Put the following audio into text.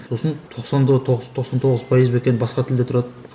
сосын тоқсан да тоғыз тоқсан тоғыз пайыз ба екен басқа тілде тұрады